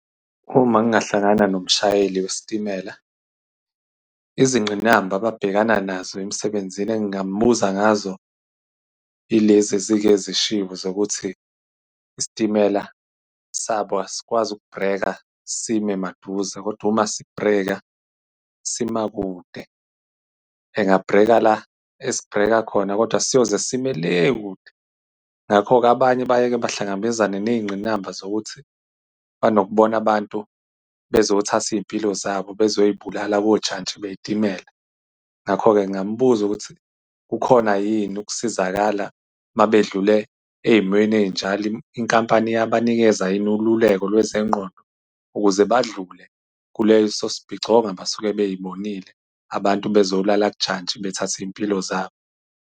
Uma ngingahlangana nomshayeli wesitimela, izingqinamba ababhekana nazo emsebenzini engingambuza ngazo, ilezi ezike zishiwo zokuthi, isitimela sabo asikwazi ukubhreka, sime maduze, kodwa uma sibhreka sima kude. Engabhreka la esibheka khona, kodwa siyoze sime le kude. Ngakho-ke, abanye baye bahlangabezane ney'ngqinamba zokuthi banokubona abantu bezothatha iy'mpilo zabo, bezoy'bulala kojantshi bey'timela. Ngakho-ke ngingambuza ukuthi kukhona yini ukusizakala uma bedlule ey'mweni ey'njalo inkampani iyabanikeza yini ululeko lwezengqondo, ukuze badlule kuleso isibhicongo abasuke bey'bonile, abantu bezolala kujantshi bethatha iy'mpilo zabo.